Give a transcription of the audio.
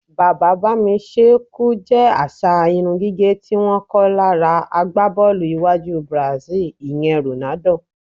Bàbá-bá-mi-s̩é̩-e̩-kù jé̩ às̩à irún gígè̩ tí wó̩n kó̩ lára agbábó̩ò̩lù iwájú Brazil, ìye̩n Ronaldo.